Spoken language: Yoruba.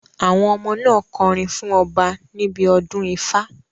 Àwọn ọmọ náà kọrin fún ọba níbi odún Ifa